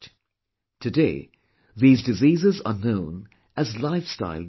Today these diseases are known as 'lifestyle disorders